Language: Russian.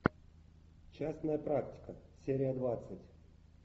частная практика серия двадцать